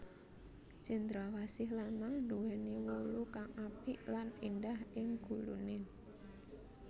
Cendrawsih lanang nduwèni wulu kang apik lan éndah ing guluné